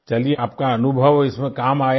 चलिये आपका अनुभव इसमें काम आया